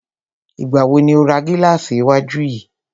Ìgbà wo ni o ra gílàsì iwájú yìí?